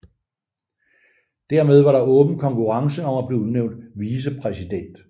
Dermed var der en åben konkurrence om at blive udnævnt vicepræsident